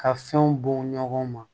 Ka fɛnw bɔn ɲɔgɔn ma